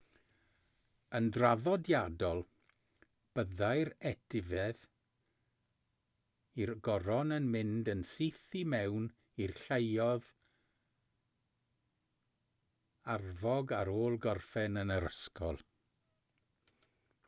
yn draddodiadol byddai'r etifedd i'r goron yn mynd yn syth i mewn i'r lluoedd arfog ar ôl gorffen yn yr ysgol